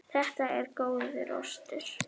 Þetta er góður ostur.